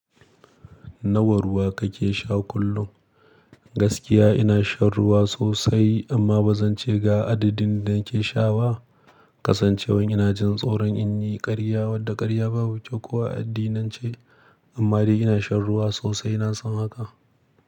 Nawa ruwa kake sha kullum? Gaskiya ina shan ruwa sosai, amma ba zan ce ga adadin da nake sha ba. Kasancewan ina jin tsoron in yi ƙarya wadda ƙarya babu kyau ko a addinance. Amma dai ina shan ruwa sosai, na san haka.